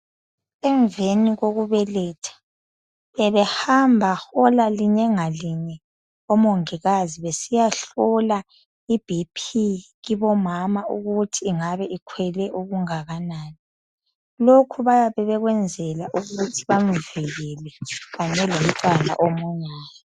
Emveni kokubeletha bebehamba hola linye ngalinye omongikazi besiya hlola ibhiphi kibomama ukuthi ingabe ikhwele okungakanani lokhu babekwenzela ukuthi bamvikele kanye lomntwana omunyayo.